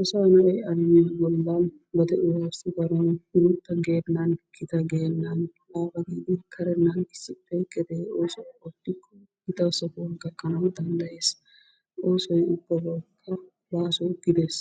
Asaa na'i badeuwa bolanni onnakka gotaa genanni onnakaa karenenanni gedee osuwaa ottikoo gittaa sohuwaa gakanawu dandayesi osooy ubbabawukka baso giddees,